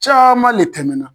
Caaman le tɛmɛna